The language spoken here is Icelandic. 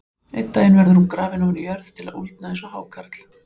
Einn daginn verður hún grafin ofan í jörð til að úldna eins og hákarl.